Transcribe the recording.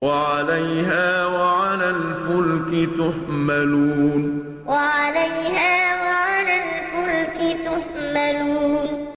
وَعَلَيْهَا وَعَلَى الْفُلْكِ تُحْمَلُونَ وَعَلَيْهَا وَعَلَى الْفُلْكِ تُحْمَلُونَ